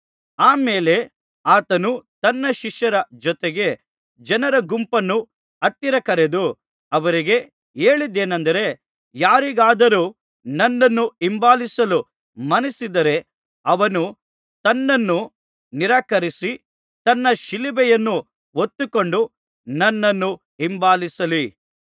ಆ ಮೇಲೆ ಆತನು ತನ್ನ ಶಿಷ್ಯರ ಜೊತೆಗೆ ಜನರ ಗುಂಪನ್ನೂ ಹತ್ತಿರ ಕರೆದು ಅವರಿಗೆ ಹೇಳಿದ್ದೇನಂದರೆ ಯಾರಿಗಾದರೂ ನನ್ನನ್ನು ಹಿಂಬಾಲಿಸಲು ಮನಸ್ಸಿದ್ದರೆ ಅವನು ತನ್ನನ್ನು ನಿರಾಕರಿಸಿ ತನ್ನ ಶಿಲುಬೆಯನ್ನು ಹೊತ್ತುಕೊಂಡು ನನ್ನನ್ನು ಹಿಂಬಾಲಿಸಲಿ